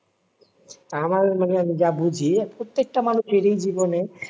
আমার মানে আমি যা বুঝি প্রত্যেকটা মানুষেরই জীবনে